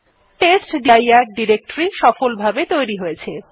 টেস্টডির directory সফলভাবে তৈরী হয়েছে